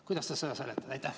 Kuidas ta seda seletate?